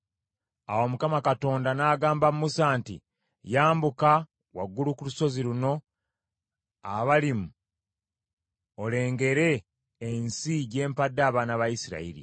Awo Mukama Katonda n’agamba Musa nti, “Yambuka waggulu ku lusozi luno Abalimu olengere ensi gye mpadde abaana ba Isirayiri.